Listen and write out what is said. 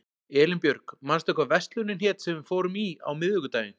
Elínbjörg, manstu hvað verslunin hét sem við fórum í á miðvikudaginn?